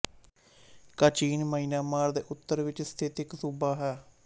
Kachin Myanmar ਦੇ ਉੱਤਰ ਵਿੱਚ ਸਥਿਤ ਇੱਕ ਸੂਬਾ ਹੈ